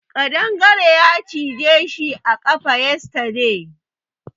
Kadangare ya cije shi a kafa yesterday.